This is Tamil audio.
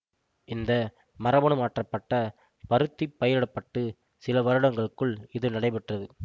இந்த மரபணு மாற்றப்பட்ட பருத்தி பயிரிடப்பட்டு சில வருடங்களுக்குள் இது நடைபெற்றது